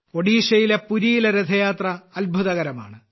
ഒഡീഷയിലെ പുരിയിലെ രഥയാത്ര അത്ഭുതകരമാണ്